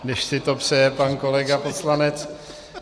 Když si to přeje pan kolega poslanec.